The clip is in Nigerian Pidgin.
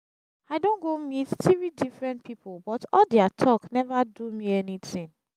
i don go meet three different people but all dia talk never do me anything